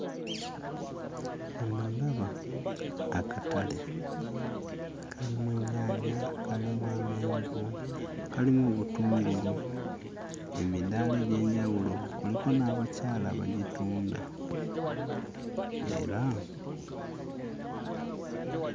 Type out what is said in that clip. Wano ndaba akatale. Kalimu ennyaanya, kalimu amenvu, kalimu obutungulu. Emidaala egy'enjawulo kuliko n'abakyala abagitunda era...